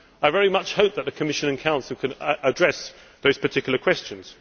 I very much hope that the Commission and the Council can address those particular questions.